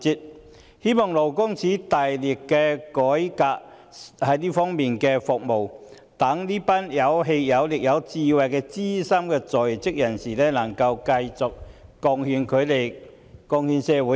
我希望勞工處大力改革這方面的服務，讓這群有氣有力、有智慧的資深在職人士能繼續貢獻社會。